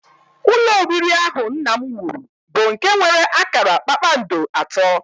Ụlọ oriri ahụ nna m wuru bụ nke nwere akara kpakpando atọ